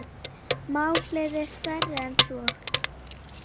Málið sé stærra en svo.